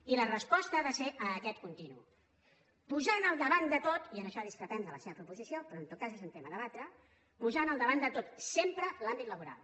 i la resposta ha de ser a aquest continu posant al davant de tot i en això discrepem de la seva proposició però en tot cas és un tema a debatre sempre l’àmbit laboral